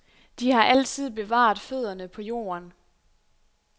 De har altid bevaret fødderne på jorden.